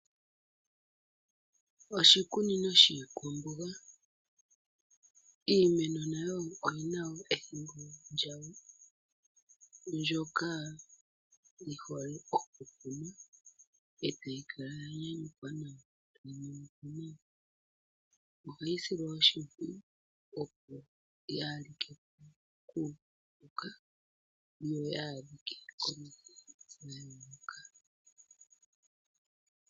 Oshikunino shiikwamboga, iimeno nayo oyina woo ethimbo lya wo mbyoka yihole oku kunwa, e tayi kala yanyanyukwa noonkondo. Ohayi silwa oshimpwiyu opo yaa like kuupuka, yo yaa adhike komikithi.